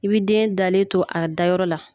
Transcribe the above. I bi den dalen to a dayɔrɔ la